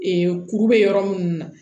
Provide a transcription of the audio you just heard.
kuru bɛ yɔrɔ minnu na